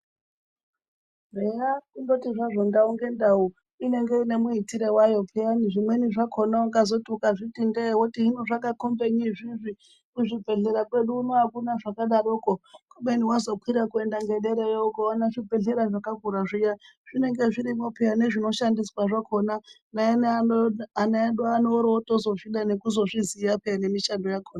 Eya kundoti zvazvo ndau ngendau inenge ine muitiro wayo peyani zvimweni zvakona ungazoti ukazviti ndee woti hino zvakakombenyi izviizvi kuzvibhedhlera kwedu uno akuna zvakadaroko kubeni wazokwira kuenda ngederayo ukaona zvibhedhlera zvakakura zviya zvinenge zvirimwo peya nezvinoshandiswa zvakona neana edu ano orozotozvida nekuzozviziya peya nemishando yakona.